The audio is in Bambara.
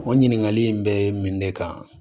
O ɲininkali in be min ne kan